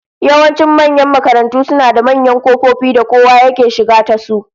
Yawancin manyan makarantu suna da manyan kofofi da kowa yake shiga tasu